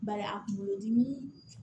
Bari a kunkolodimi